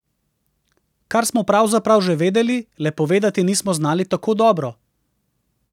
Kar smo pravzaprav že vedeli, le povedati nismo znali tako dobro.